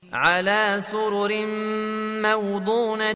عَلَىٰ سُرُرٍ مَّوْضُونَةٍ